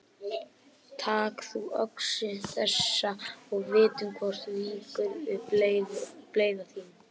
Tak þú öxi þessa og vitum hvort víkur við bleyða þín.